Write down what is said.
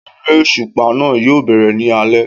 Eré òṣùpá náà yóò bẹ̀rẹ̀ ní alẹ́